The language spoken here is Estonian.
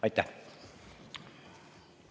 Aitäh!